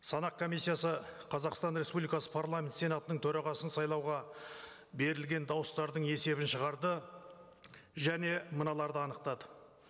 санақ комиссиясы қазақстан республикасы парламент сенатының төрағасын сайлауға берілген дауыстардың есебін шығарды және мыналарды анықтады